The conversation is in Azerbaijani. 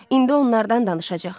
İndi onlardan danışacaq.